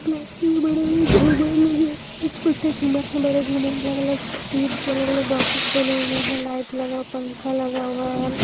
के बड़े बड़े झूमर लगे छोटे झूमर है बड़े झूमर है अलग अलग ईद के अलग अलग बॉक्सेस बने हुए हैं लाइट लगाओ पंखा लगा हुआ है।